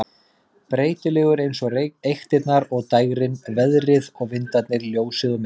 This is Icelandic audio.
Breytilegur eins og eyktirnar og dægrin, veðrið og vindarnir, ljósið og myrkrið.